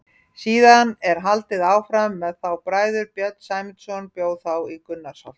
Síðan er haldið áfram með þá bræður: Björn Sæmundarson bjó þá í Gunnarsholti.